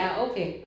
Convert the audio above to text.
Ja okay